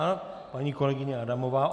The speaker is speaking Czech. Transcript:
A - paní kolegyně Adamová.